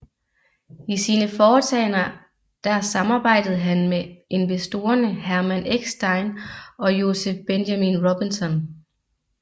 I sine foretagender der samarbejdede han med investorerne Hermann Eckstein og Joseph Benjamin Robinson